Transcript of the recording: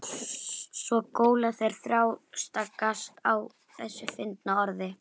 Svo góla þeir og þrástagast á þessu fyndna orði.